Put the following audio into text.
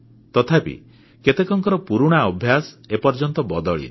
ତଥାପି କେତେକଙ୍କର ପୁରୁଣା ଅଭ୍ୟାସ ଏ ପର୍ଯ୍ୟନ୍ତ ବଦଳିନି